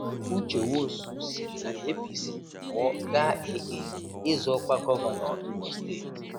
Uche Nwosu siri na APC pụọ gaa AA ịzọ ọkwa gọvanọ Imo steeti.